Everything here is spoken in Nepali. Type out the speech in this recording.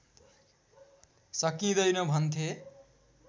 सकिँदैन भन्थे